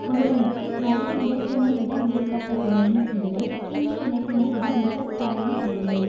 ஒருவனுக்கு நல்ல இனத்தினைவிட மேற்பட்ட துணையும் இல்லை தீய இனத்தினைவிட மிக பகையும் இல்லை